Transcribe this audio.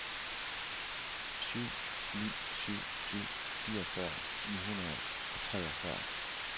syv ni syv syv fireogfyrre ni hundrede og treogfyrre